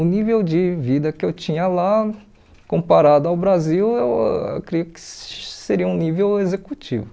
O nível de vida que eu tinha lá, comparado ao Brasil, eu creio que seria um nível executivo.